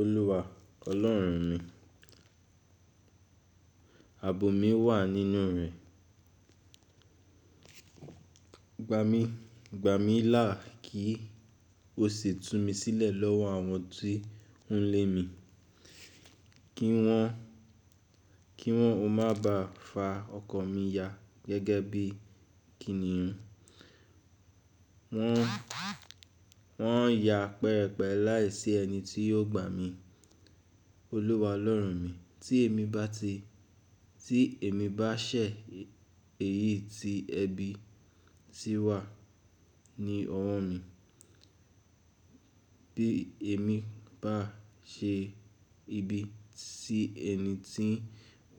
Olúwa Ọlọ́run mi, àbọ̀ mi wà nínú rẹ̀. Gba mi, gba mi lá kí o sì tú mi sílẹ̀ lọ́wọ́ àwọn tí ń lé mi. Kí wọn, kí wọn o má ba fa ọkọ̀ mi ya gẹ́gẹ́ bí kìnnìún. Wọ́n, wọn yà pẹpẹ láìsí ẹni tí yóò gba mi. Olúwa Ọlọ́run mi, tí èmi bá ti, tí èmi bá ṣẹ̀ èyí tí ẹbí ti wà ní ọwọ́ mi, bí èmi bá ṣe ibi tí ẹni tí ń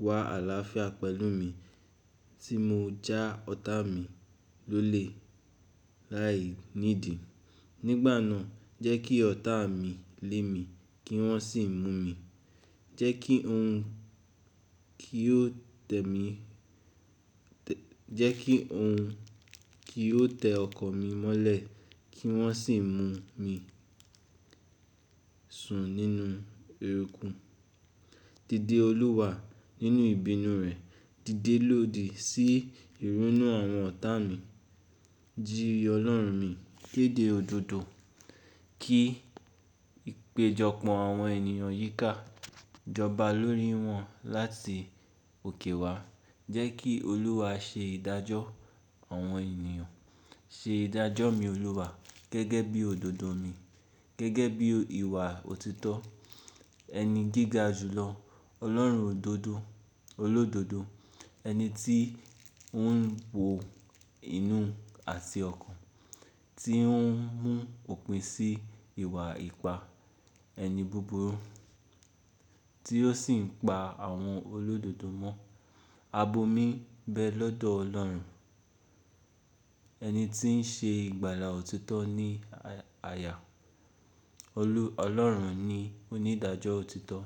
wà álááfíà pẹ̀lú mi tí mo já ọ̀tá mi lólè láì nídìí, nígbà náà jẹ́ kí ọ̀tá mi lé mi kí wọn sì mú mi. Jẹ́ kí ohun kì o tẹ mi, jẹ́ kí ohun kì o tẹ ọkọ̀ mi mọ́lẹ̀ kí wọ́n sì mú mi sùn nínú eruku. Dídé Olúwa nínú ìbínú rẹ, dídé lòdì sí ìrúnú àwọn ọ̀tá mi. Ji ọ́ lọ́run mi kéde òdodo. Kí ìpéjọpọ̀ àwọn ènìyàn yíká. Jọba lórí wọn láti òkè wá. Jẹ́ kí Olúwa ṣe ìdájọ́ àwọn ènìyàn. Ṣe ìdájọ́ mi Olúwa gẹ́gẹ́ bí òdodo mi, gẹ́gẹ́ bí ìwà òtítọ́ ẹni gíga jùlọ. Ọlọ́run òdodo, olódodo, ẹni tí ó ń wo inú àti ọkàn, tí ó ń mú òpin sí ìwà ipá, ẹni búburú tí ó sì ń pa àwọn olódodo mọ́. Àbọ̀ mi bẹ lọ́dọ̀ ọlọ́run. Ẹni tí ń ṣe ìgbàlà òtítọ́ ní àyà. Ọlọ́run ni onídàájọ́ òtítọ́.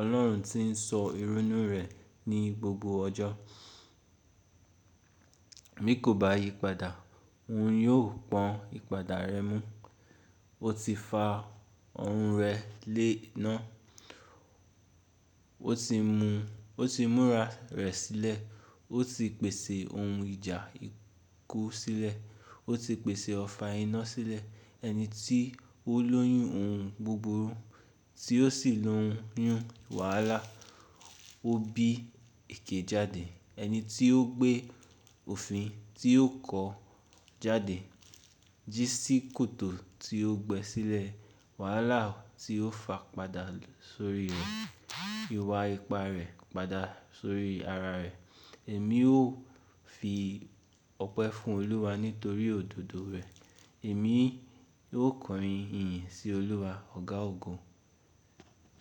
Ọlọ́run tí ń sọ ìrúnú rẹ̀ ní gbogbo ọjọ́. Bí kò bá yípadà, òun yóò pọn ìpadà rẹ̀ mú. Ó ti fa orun rẹ̀ lé iná. Ó ti mú, ó ti múra rẹ̀ sílẹ̀. Ó ti pèsè ohun ìjà ikú sílẹ̀. Ó ti pèsè ọfà iná sílẹ̀. Ẹni tí ó lóyún ohun búburú tí ó sì lóyún wàhálà ó bí èké jáde. Ẹni tí ó gbé òfin tí ó kọ jáde jí sí kòtò tí ó gbẹ́sílẹ̀. Wàhálà tí ó fa padà sórí iwa ipa rẹ̀ padà sórí ara rẹ̀. Èmi ó fi ọpẹ́ fún Olúwa nítorí òdodo rẹ̀. Èmi ó kọrin ìyìn sí Olúwa ọ̀gá ògo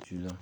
jùlọ.